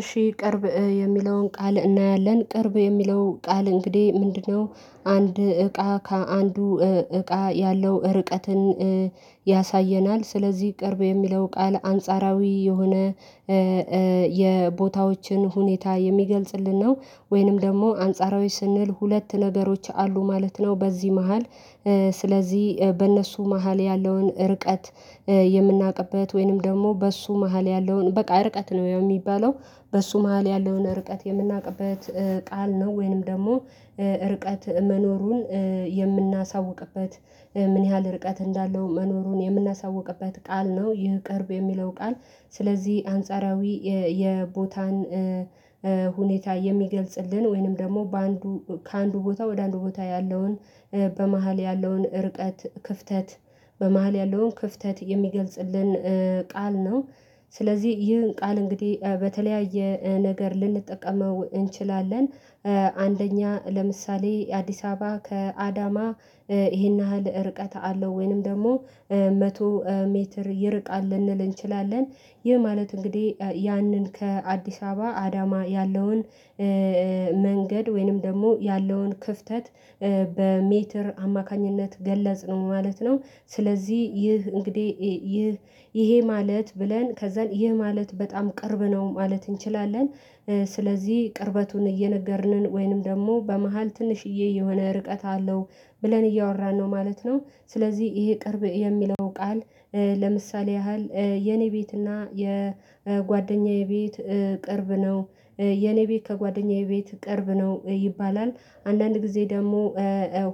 እሺ ቅርብ የሚለውን ቃል እናያለን ቅርብ የሚለው ቃል እንግዲህ ምንድነው? አንድ እቃ ከአንዱ እቃ ያለው ርቀትን ያሳየናል። ስለዚህ ቅርብ የሚለው ቃል አንጻራዊ የሆነ የቦታዎችን ሁኔታ የሚገልጽልን ነው። ወይንም ደግሞ አንጻራዊ ስንል ሁለት ነገሮች አሉ ማለት ነው በዚህ መሃል። ስለዚህ በእነሱ መሃል ያለውን ርቀት የምናውቅበት ወይንም ደግሞ በእሱ መሃል ያለውን በቃ ርቀት ነው የሚባለው በሱ መሃል ያለውን ርቀት የምናውቅበት ቃል ነው። ወይንም ደግሞ ርቀት መኖሩን የምናሳውቅበት ምን ያህል ርቀት እንዳለው መኖሩን የምናሳውቅበት ቃል ነው ይህ ቅርብ የሚለው ቃል። ስለዚህ አንጻራዊ የቦታን ሁኔታ የሚገልጽልን ወይንም ደግሞ በአንዱ ከአንዱ ቦታ ወደ አንዱ ቦታ ያለውን በመሃል ያለውን እርቀት ክፍተት በመሃል ያለውን ክፍተት የሚገልጽልን ቃል ነው። ስለዚህ ይህን ቃል እንግዲህ በተለያየ ነገር ልንጠቀመው እንችላለን። አንደኛ ለምሳሌ አዲስ አበባ ከአዳማ ይሄን ያህል ርቀት አለው ወይንም ደግሞ መቶ ሜትር ይርቃል ልንል እንችላለን። ይህ ማለት እንግዲህ ያንን ከአዲስ አበባ አዳማ ያለውን መንገድ ወይንም ደግሞ ያለውን ክፍተት በሜትር አማካኝነት ገለጽ ነው ማለት ነው። ስለዚህ ይህ እንግዲህ ይህ ይሄ ማለት ብለን ከዛ ይህ ማለት በጣም ቅርብ ነው ማለት እንችላለን። ስለዚህ ቅርበቱን እየነገርንን ወይንም ደግሞ በመሃል ትንሽዬ የሆነ ርቀት አለው ብለን እያወራን ነው ማለት ነው ስለዚህ ይሄ ቅርብ የሚለው ቃል። ለምሳሌ ያህል የኔ ቤት እና የጓደኛዬ ቤት ቅርብ ነው የኔ ቤት ከጓደኛዬ ቤት ቅርብ ነው ይባላል። አንዳንድ ጊዜ ደግሞ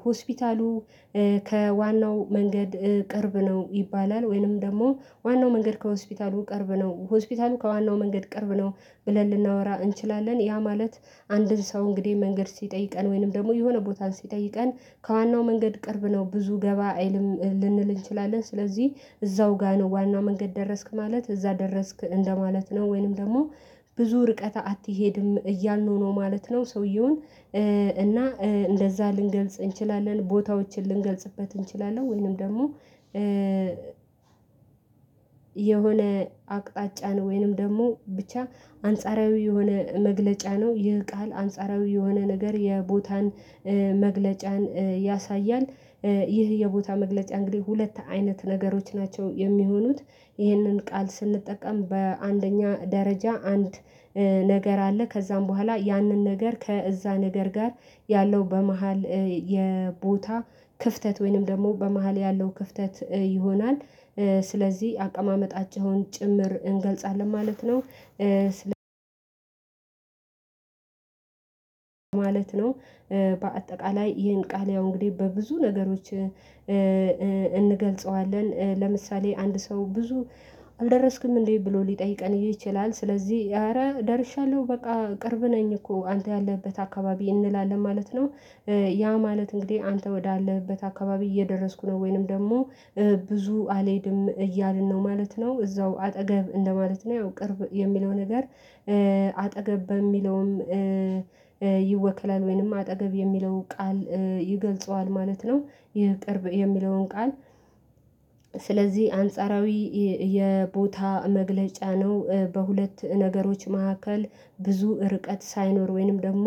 ሆስፒታሉ ከዋናው መንገድ ቅርብ ነው ይባላል ወይንም ደግሞ ዋናው መንገድ ከሆስፒታሉ ቅርብ ነው ሆስፒታሉ ከዋናው መንገድ ቅርብ ነው። ብለን ልናወራ እንችላለን ያ ማለት አንድን ሰው እንግዲህ መንገድ ሲጠይቀን ወይንም ደግሞ የሆነ ቦታ ሲጠይቀን ከዋናው መንገድ ቅርብ ነው ብዙ ገባ አይልም ልንል እንችላለን ስለዚህ እዛው ጋር ነው ዋናው መንገድ ደረስክ ማለት እዛ ደረስክ እንደማለት ነው ወይንም ደግሞ ብዙ ርቀት አትሄድም እያልነው ነው ማለት ነው። እና እንደዛ ልንገልጽ እንችላለን ቦታዎችን ልንገልጽበት እንችላለን ወይንም ደግሞ የሆነ አቅጣጫን ወይንም ደግሞ ብቻ አንጻራዊ የሆነ መግለጫ ነው ይህ ቃል አንጻራዊ የሆነ ነገር የቦታን መግለጫን ያሳያል። ይህ የቦታ መግለጫ እንግዲህ ሁለት አይነት ነገሮች ናቸው የሚሆኑት ይህንን ቃል ስንጠቀም በአንደኛ ደረጃ አንድ ነገር አለ ከዛም በኋላ ያንን ነገር ከእዛ ነገር ጋር ያለው በመሃል የቦታ ክፍተት ወይንም ደግሞ በመሃል ያለው ክፍተት ይሆናል። ስለዚህ አቀማመጣቸውን ጭምር እንገልጻለን ማለት ነው ማለት ነው። በአጠቃላይ ይህን ቃል ያው እንግዲህ በብዙ ነገሮች እንገልጸዋለን ለምሳሌ አንድ ሰው ብዙ አልደረስክም እንዴ ብሎ ሊጠይቀን ይችላል ስለዚህ አረ ደርሻለሁ በቃ ቅርብ ነኝ እኮ አንተ ያለህበት አካባቢ እንላለን ማለት ነው። ያ ማለት እንግዲህ አንተ ወዳለህበት አካባቢ እየደረስኩ ነው ወይንም ደግሞ ብዙ አልሄድም እያልን ነው ማለት ነው። እዛው አጠገብ እንደማለት ነው ያው ቅርብ የሚለው ነገር አጠገብ በሚለውም ይወክላል ወይንም አጠገብ የሚለው ቃል ይገልጸዋል ማለት ነው። ይህ ቅርብ የሚለውን ቃል ስለዚህ አንጻራዊ የቦታ መግለጫ ነው በሁለት ነገሮች መካከል ብዙ ርቀት ሳይኖር ወይንም ደግሞ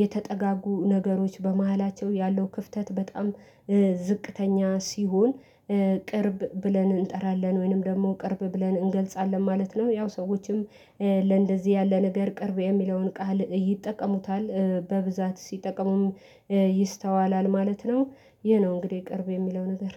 የተጠጋጉ ነገሮች በመሃላቸው ያለው ክፍተት በጣም ዝቅተኛ ሲሆን ቅርብ ብለን እንጠራለን ወይንም ደግሞ ቅርብ ብለን እንገልጻለን ማለት ነው። ያው ሰዎችም ለእንደዚህ ያለ ነገር ቅርብ የሚለውን ቃል ይጠቀሙታል በብዛት ሲጠቀሙም ይስተዋላል ማለት ነው። ይሄ ነው እንግዲህ ቅርብ የሚለው ነገር